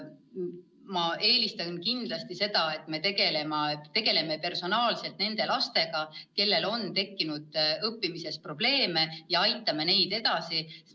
Ma eelistan kindlasti seda, et me tegeleme personaalselt nende lastega, kellel on tekkinud õppimises probleeme, ja aitame neid edasi.